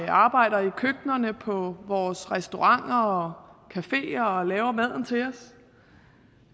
arbejder i køkkenerne på vores restauranter og caféer og laver maden til os